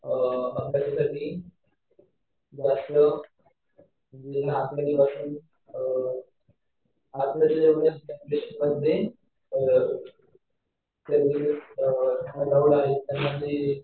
अभ्यासासाठी रात्र म्हणजे रात्रंदिवस अलाऊड आहे त्यांना ते